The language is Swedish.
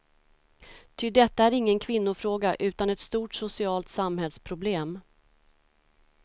Ty detta är ingen kvinnofråga utan ett stort socialt samhällsproblem.